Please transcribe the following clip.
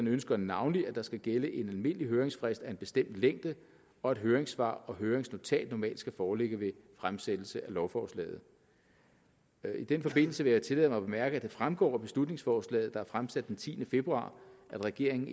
ønsker navnlig at der skal gælde en almindelig høringsfrist af en bestemt længde og at høringssvar og høringsnotat normalt skal foreligge ved fremsættelsen af lovforslaget i den forbindelse vil jeg tillade mig at bemærke at det fremgår af beslutningsforslaget der er fremsat den tiende februar at regeringen